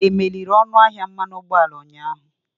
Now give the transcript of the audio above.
Akwubara ọnụ ahịa mmanụ ụgbọala ụnyaahụ?